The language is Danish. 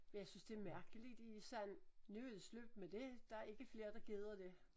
Men jeg synes det mærkelig de sådan nu er det slut med det der ikke flere der gider det